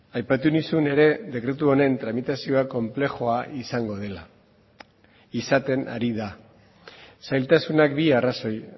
aipatu nizun ere dekretu honen tramitazioa konplexua izango dela izaten ari da zailtasunak bi arrazoi